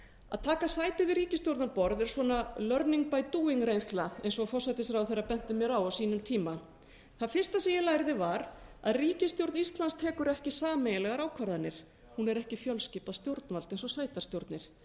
að taka sæti við ríkisstjórnarborð er svona learning by doing reynsla eins og forsætisráðherra benti mér á á sínum tíma það fyrsta sem ég lærði var að ríkisstjórn íslands tekur ekki sameiginlegar ákvarðanir hún er ekki fjölskipað stjórnvald eins og sveitarstjórnir